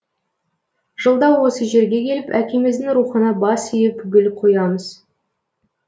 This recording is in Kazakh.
жылда осы жерге келіп әкеміздің рухына бас иіп гүл қоямыз